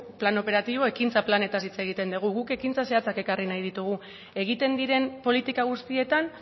plan operatibo ekintza planetaz hitz egiten dugu guk ekintza zehatzak ekarri nahi ditugu egiten diren politika guztietan